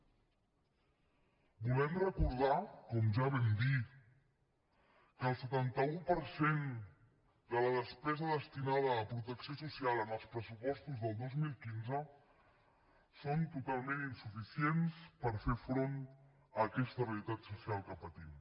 volem recordar com ja vam dir que el setanta un per cent de la despesa destinada a protecció social en els pressupostos del dos mil quinze és totalment insuficient per fer front a aquesta realitat social que patim